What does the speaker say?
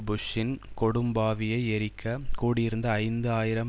புஷ்ஷின் கொடும்பாவியை எரிக்க கூடியிருந்த ஐந்து ஆயிரம்